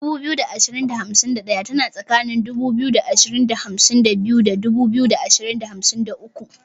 2251 tana tsakanin 2252 da 2253.